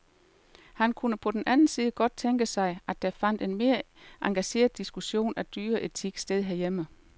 Han kunne på den anden side godt tænke sig, at der fandt en mere engageret diskussion af dyreetik sted herhjemme.